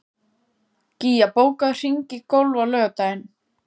Gía, bókaðu hring í golf á laugardaginn.